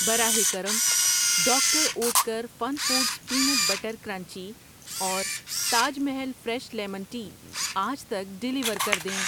براہ کرم، doctor Oetker fun foods peanut butter crunchy اور Taj Mahal fresh lemon tea آج تک ڈیلیور کر دیں۔